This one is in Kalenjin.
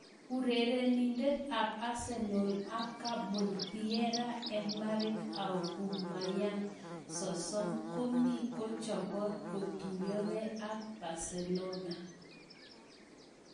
Urerenindet ab Arsenal ak Gabon Pierre-Emerick Aubameyang, 30, komi kochobot kotuyoge ak Barcelona.